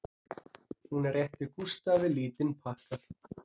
Hún réttir Gústafi lítinn pakka